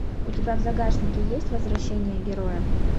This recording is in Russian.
у тебя в загашнике есть возвращение героя